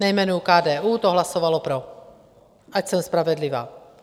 Nejmenuji KDU, to hlasovalo pro, ať jsem spravedlivá.